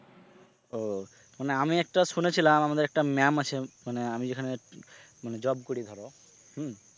ও মানে আমি একটা শুনেছিলাম আমাদের একটা ম্যাম আছে মানে আমি যেখানে মানে job করি ধর হম